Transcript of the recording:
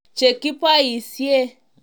Chekiboisie